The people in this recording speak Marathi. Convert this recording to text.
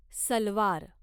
सलवार